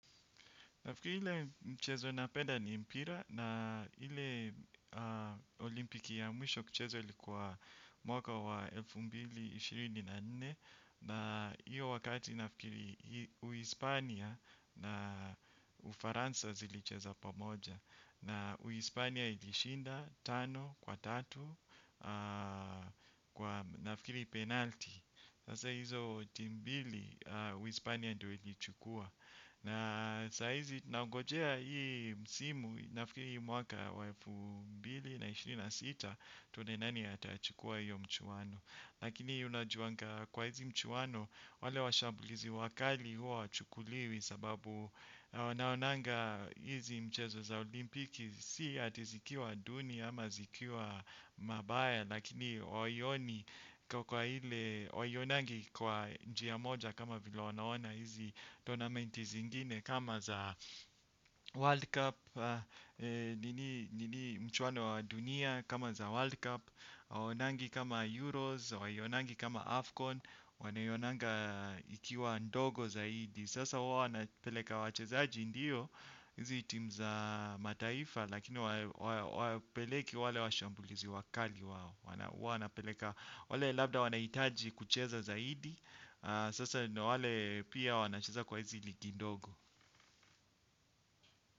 Nafikiri ile mchezo napenda ni mpira na ile olimpiki ya mwisho kuchezwa ilikuwa mwaka wa elfu mbili ishirini na nne na iyo wakati nafikiri uispania na ufaransa zilicheza pamoja na uispania ilishinda tano kwa tatu na nafikiri penalti. Sasa hizo timu mbili uispania ndo ili chukua. Na saa hizi nangojea hii msimu nafikiri hii mwaka wafu mbili na ishirini na sita tuone nani atachukua hiyo mchuano. Lakini unajiuanga kwa hizi mchuano wale washambulizi wakali huwa hawachukuliwi sababu naonanga hizi mchezo za olimpiki si ati zikiwa duni ama zikiwa mabaya lakini hawaioni kwa ile hawaionangi kwa njia moja kama vile wanaona hizi tonamenti zingine kama za World Cup. Nini mchuwano wa dunia kama za World Cup hawaonangi kama Euros, hawaionangi kama Afcon wanaionanga ikiwa ndogo zaidi. Sasa huwa wanapeleka wachezaji ndiyo hizi team za mataifa. Lakini hawapeleki wale washambulizi wakali huwa wanapeleka. Wale labda wanahitaji kucheza zaidi. Sasa wale pia wanacheza kwa hizi ligi ndogo.